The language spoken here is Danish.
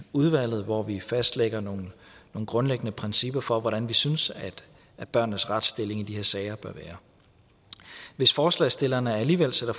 udvalget hvor vi fastlægger nogle grundlæggende principper for hvordan vi synes at børnenes retsstilling i de her sager bør være hvis forslagsstillerne alligevel sender